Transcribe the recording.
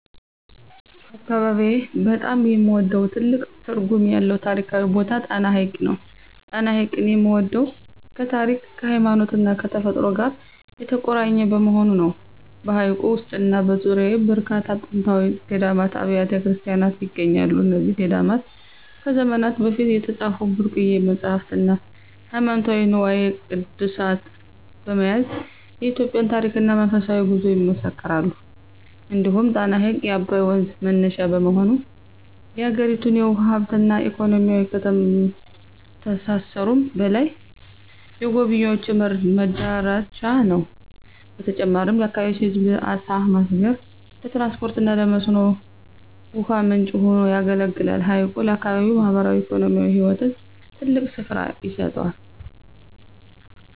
በአካባቢዬ በጣም የምወደውና ትልቅ ትርጉም ያለው ታሪካዊ ቦታ ጣና ሐይቅ ነው። ጣና ሐይቅን የምወደው ከታሪክ፣ ከሃይማኖትና ከተፈጥሮ ጋር የተቆራኘ በመሆኑ ነው። በሐይቁ ውስጥና በዙሪያው በርካታ ጥንታዊ ገዳማትና አብያተ ክርስቲያናት ይገኛሉ። እነዚህ ገዳማት ከዘመናት በፊት የተጻፉ ብርቅዬ መጻሕፍትና ሃይማኖታዊ ንዋየ ቅድሳት በመያዝ የኢትዮጵያን ታሪክና መንፈሳዊ ጉዞ ይመሰክራሉ። እንዲሁም ጣና ሐይቅ የአባይ ወንዝ መነሻ በመሆኑ፣ የአገሪቱን የውሃ ሀብትና ኢኮኖሚ ከማስተሳሰሩም በላይ፣ የጎብኝዎች መዳረሻ ነው። በተጨማሪም ለአካባቢው ሕዝብ ለዓሣ ማስገር፣ ለትራንስፖርትና ለመስኖ ውሃ ምንጭ ሆኖ ያገለግላል። ሐይቁ ለአካባቢው ማኅበራዊና ኢኮኖሚያዊ ሕይወት ትልቅ ስፍራ ይሰጠዋል።